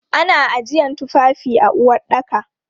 Ana ajiyan tufafi a uwaɗɗaka.